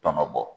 Tɔnɔ bɔ